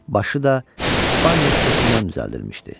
Başı da İspaniya şüşəsindən düzəldilmişdi.